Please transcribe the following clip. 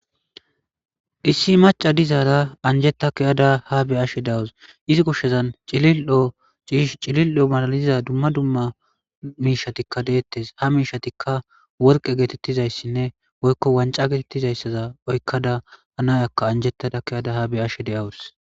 issi maca dizaara anjeta kiyada ha be ashe dawus izi kushshezan cilildo ciish cilil7o malaliza dumma dumma miishatikka deettes ha miishatikka worqe geetettizayssinne woykko wanca geetettizayssaza oykkada hanayakka anjettada keyada ha be ashe deawus